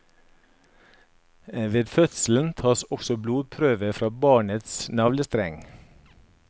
Ved fødselen tas også blodprøve fra barnets navlestreng.